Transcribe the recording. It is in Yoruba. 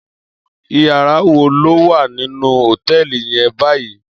Iyàrá wó ló wá ninú hótèlí yèn bàyí?